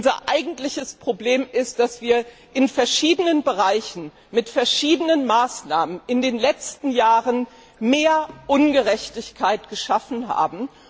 Unser eigentliches Problem ist, dass wir in verschiedenen Bereichen mit verschiedenen Maßnahmen in den letzten Jahren mehr Ungerechtigkeit geschaffen haben.